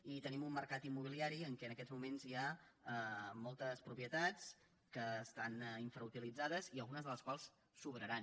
i tenim un mercat immobiliari en què en aquests moments hi ha moltes propietats que estan infrautilitzades i algunes de les quals sobraran